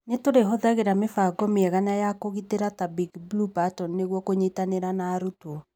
Nĩtũrĩ hũthagĩra mĩbango mĩega na ya kũgitĩra ta 'Big Blue Button' nĩguo kũnyitanĩra na arutwo